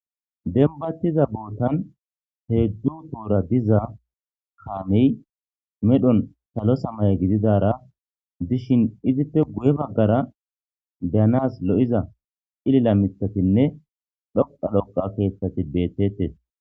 Denibatizza botanni hedzdzu Bora diza kameyi medhdhonni salo samaye gididara dishshinni izzippe guye bagara beyanassi lo'izza cilala miththatinne dhoqaa dhoqaa keththati betetees.